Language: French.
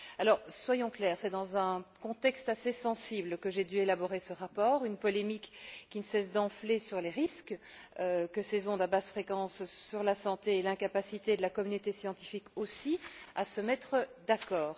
Alors, soyons clairs, c'est dans un contexte assez sensible que j'ai dû élaborer ce rapport, avec une polémique qui ne cesse d'enfler sur les risques de ces ondes à basses fréquences sur la santé et l'incapacité de la communauté scientifique, aussi, à se mettre d'accord.